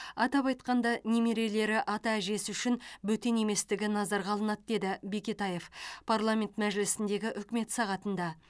атап айтқанда немерелері ата әжесі үшін бөтен еместігі назарға алынады деді бекетаев парламент мәжілісіндегі үкімет сағатында